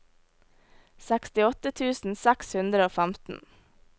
sekstiåtte tusen seks hundre og femten